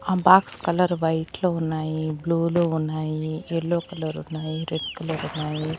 ఆ box colour white లో ఉన్నాయి బ్లూ లో ఉన్నాయి యెల్లో కలర్ ఉన్నాయి రెడ్ కలర్ ఉన్నాయి.